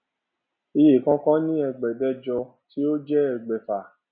iye kọọkan ní ẹẹdẹgbẹjọ tí ó jẹ ẹgbàáfà